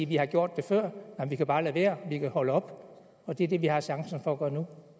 vi har gjort det før men vi kan bare lade være vi kan holde op og det er det vi har chancen for at gøre nu